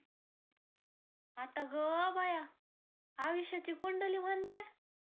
आता ग बया, आयुष्याची कुंडली म्हणता